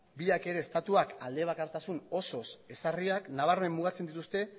biak ere estatuak aldebakartasun osoz ezarriak nabarmen mugatzen dituzte